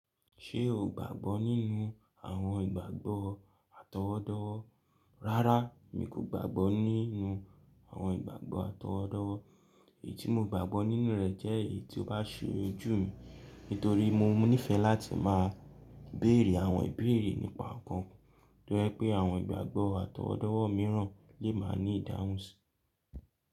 Ṣé o gbàgbọ́ nínú àwọn ìgbàgbọ́ àtọwọ́dọ́wọ́? Rárá, mi kò gbàgbọ́ nínú àwọn ìgbàgbọ́ àtọwọ́dọ́wọ́. Èyí tí mo gbàgbọ́ nínú rẹ̀ jẹ́ èyí tí ó bá ṣe ojú mi. Nítorí mo níìfẹ̀ láti máa béèrè àwọn ìbéèrè nípa nǹkan tó jẹ́ pé àwọn ìgbàgbọ́ àtọwọ́dọ́wọ́ mìíràn lè máa ní ìdáhùn sí.